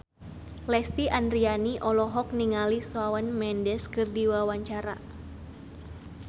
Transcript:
Lesti Andryani olohok ningali Shawn Mendes keur diwawancara